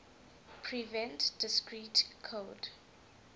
prevent discrete code